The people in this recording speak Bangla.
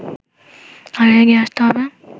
আরো এগিয়ে আসতে হবে